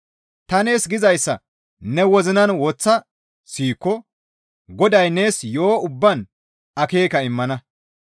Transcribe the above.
Ta nees gizayssa ne wozinan woththa siyikko Goday nees yo7o ubbaan akeeka immana.